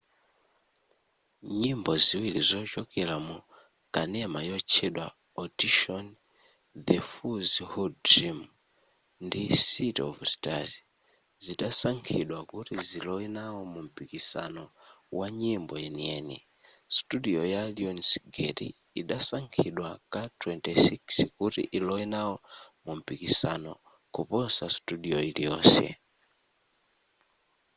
nyimbo ziwiri zochokera mu kanema yotchedwa audition the fools who dream ndi city of stars zidasankhidwa kuti zilowe nawo mumpikisano wa nyimbo yeniyeni. studio ya lionsgate idasankhidwa ka 26 kuti ilowe nawo mumpikisano-kuposa studio iliyonse